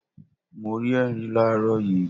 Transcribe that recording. Mo rí ẹrin làárọ̀ yii.